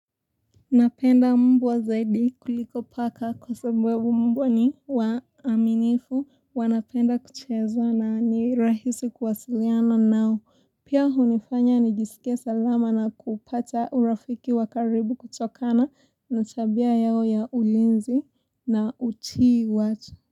Napenda mbwa zaidi kuliko paka kwa sebebu mbwa ni waaminifu wanapenda kucheza na ni rahisi kuwasiliana nao. Pia hunifanya nijisike salama na kupata urafiki wakaribu kutokana na tabia yao ya ulinzi na utii watu.